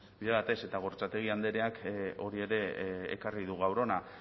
bide batez eta gorrotxategi andreak hori ere ekarri du gaur hona